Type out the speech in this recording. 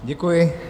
Děkuji.